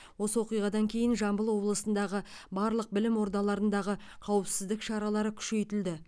осы оқиғадан кейін жамбыл облысындағы барлық білім ордаларындағы қауіпсіздік шаралары күшейтілді